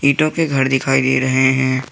ईटों के घर दिखाई दे रहे हैं।